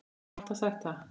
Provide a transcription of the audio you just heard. Ég hef alltaf sagt það.